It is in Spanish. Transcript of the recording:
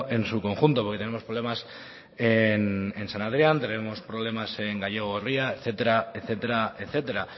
en su conjunto porque tenemos problemas en san adrián tenemos problemas en gallego gorria etcétera etcétera etcétera